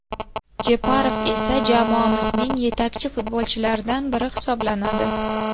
Jeparov esa jamoamizning yetakchi futbolchilaridan biri hisoblanadi.